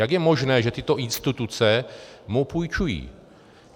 Jak je možné, že tyto instituce mu půjčují?